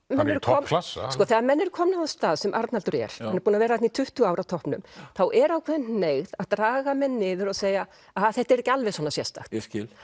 hann er í toppklassa þegar menn eru komnir á þann stað sem Arnaldur er hann er búinn að vera í tuttugu ár á toppnum þá er ákveðin hneigð að draga menn niður og segja þetta er ekki alveg svona sérstakt